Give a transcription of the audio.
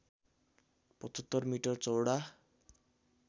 ७५ metre चौडा